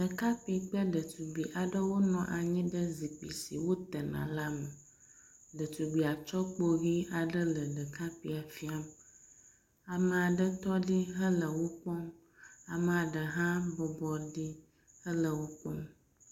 Ɖekakpui kple ɖetugbui aɖewo nɔ anyi ɖe zikpui si wotena la me. Ɖetugbia tsɔ kpo ʋi aɖe le ɖekakpuia fia. Ame aɖe tɔ ɖi hele wo kpɔm. amea ɖe hã bɔbɔ ɖi hele wo kpɔm.